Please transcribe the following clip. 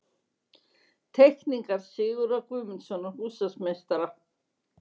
Teikningar Sigurðar Guðmundssonar, húsameistara.